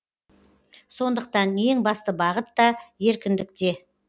сондықтан ең басты бағыт та еркіндікте